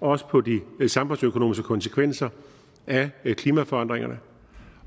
også på de samfundsøkonomiske konsekvenser af klimaforandringerne